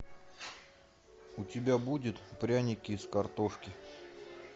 у тебя будет пряники из картошки